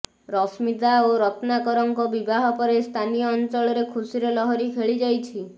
ରଶ୍ମିତା ଓ ରତ୍ନାକରଙ୍କ ବିବାହ ପରେ ସ୍ଥାନୀୟ ଅଞ୍ଚଳରେ ଖୁସିର ଲହରୀ ଖେଳି ଯାଇଛି